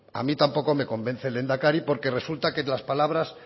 a mí tampoco me convence el lehendakari porque resulta que las palabra